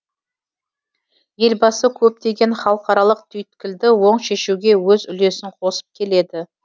елбасы көптеген халықаралық түйткілді оң шешуге өз үлесін қосып келеді